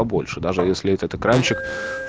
побольше даже если этот экранчик